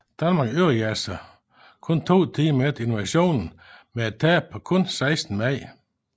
Danmark overgav sig blot to timer efter invasionen med et tab på kun seksten mand